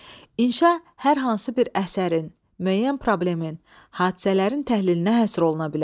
İnşa hər hansı bir əsərin, müəyyən problemin, hadisələrin təhlilinə həsr oluna bilər.